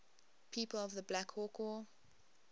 people of the black hawk war